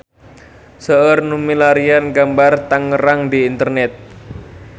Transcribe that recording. Seueur nu milarian gambar Tangerang di internet